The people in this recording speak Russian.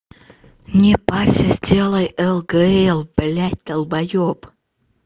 не парься сделай элгээл блядь долбоёб